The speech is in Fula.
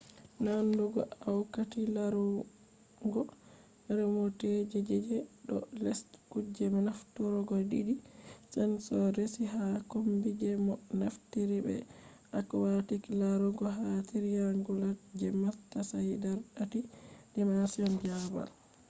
nandugo aquati larurgo remote je je do les kuje nafturgo didi sensors resi ha kombi je mo naftirta be aquatic larugo ha triangulate je matsayi dar tatti-dimension babal